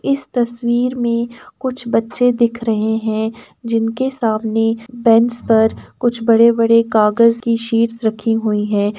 इस तस्वीर में कुछ बच्चे दिख रहे हैं। जिनके सामने बेंच पर कुछ बड़े -बड़े कागज की शीट्स रखी हुई हैं।